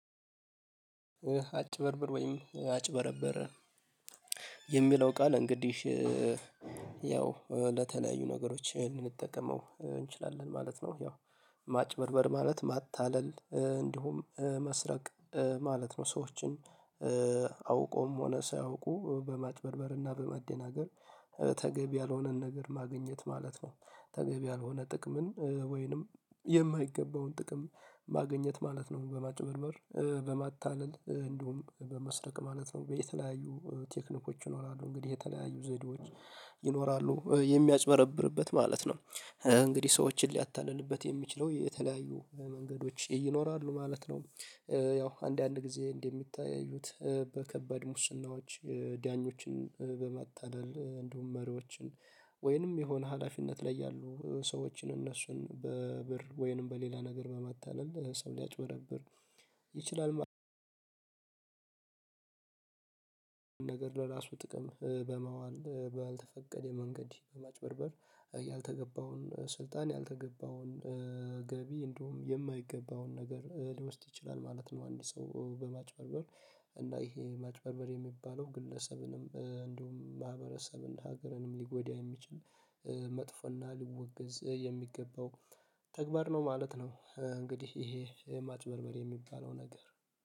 አጭበርብር ወይም አጭበረበረ የሚለው ቃል እንግዲህ ያው ለተለያዩ ነገሮች ልንጠቀመው እንችላለን ማለት ነው። ያው ማጭበርበር ማለት ማታለል እንዲሁም መስረቅ ማለት ነው። ሰዎችን አውቀውም ሆነ ሳያውቁ በማጭበርበርና በመደናገር ተገቢ ያልሆነን ነገር ማግኘት ማለት ነው። ተገቢ ያልሆነ ጥቅምን ወይንም የማይገባውን ጥቅም ማግኘት ማለት ነው በማጭበርበር በማታለል እንድሁም በመስረቅ ማለት ነው። በተለያዩ ቴክኒኮች ይኖራሉ እንግዲህ የተለያዩ ዘዴዎች ይኖራሉ የሚያጭበረብርበት ማለት ነው። እንግዲህ ሰዎችን ሊያታልልበት የሚችለው የተለያዩ መንገዶች ይኖራሉ ማለት ነው። ያው አንዳንድ ጊዜ እንደሚታዩት በከባድ ሙስናዎች ዳኞችን በማታለል እንዲሁም መሪዎችን ወይንም የሆነ ሀላፊነት ላይ ያሉ ሰዎችን እነሱን በብር ወይንም በሌላ ነገር በማታለል ሰው ሊያጭበረብር ይችላል። ነገር ለራሱ ጥቅም በማዋል ባልተፈቀደ መንገድ በማጭበርበር ያልተገባውን ስልጣን ያልተገባውን ገቢ እንዲሁም የማይገባውን ነገር ሊወስድ ይችላል ማለት ነው። አንድ ሰው በማጭበርበር እና ይሄ ማጭበርበር የሚባለው ግለሰብንም እንደውም ማህበረሰብን ሀገርንም ሊጎዳ የሚችል መጥፎና ሊወገዝ የሚገባው ተግባር ነው ማለት ነው። እንግዲህ ይሄ ማጭበርበር የሚባለው ነገር